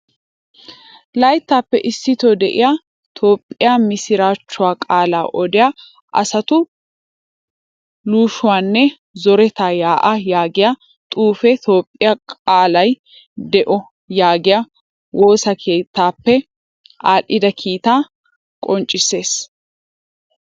Layttappe issito de'iyaa toophphiyaa misirachchuwaa qaalaa odiyaa asatu lohisuwaanne zoretta yaa'a yaagiyaa xuufe toophphiyaa qaalay de'o yaagiyaa woosaa keettaappe adhdhida kiita qoncciisees.